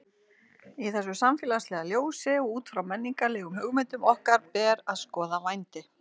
Í þessu samfélagslega ljósi og út frá menningarlegum hugmyndum okkar ber að skoða vændi.